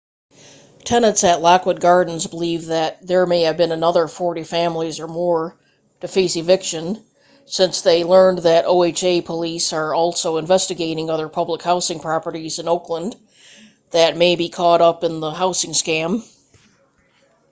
tenants at lockwood gardens believe that there may be another 40 families or more to face eviction since they learned that oha police are also investigating other public housing properties in oakland that may be caught up in the housing scam